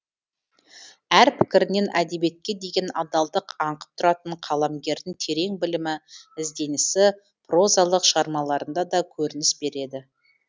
әр пікірінен әдебиетке деген адалдық аңқып тұратын қаламгердің терең білімі ізденісі прозалық шығармаларында да көрініс береді